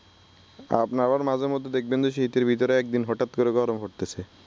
আপনি আবার মাঝেমধ্যে দেখবেন যে শীতের ভিতরে একদিন হঠাৎ করে গরম পড়তেসে ।